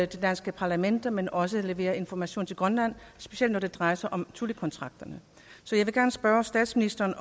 danske parlament men også levere information til grønland specielt når det drejer sig om thule kontrakterne så jeg vil gerne spørge statsministeren